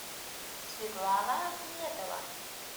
светлана ахметова